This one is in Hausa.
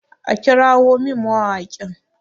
a kirawon min mawaƙin!